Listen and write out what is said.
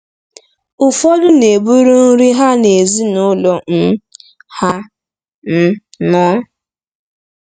Ụfọdụ na-eburu nri ha na ezinụlọ um ha um nọ.